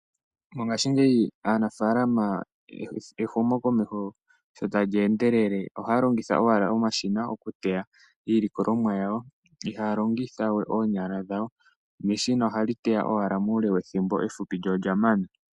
Mongaashingeyi aanafaalama ehumokomeho sho tali endelele ohaya longitha owala omashina okuteya iilikolomwa yawo. Ihaya longitha we oonyala dhawo, neshina ohali teya owala muule wethimbo efupi lyo olya mana.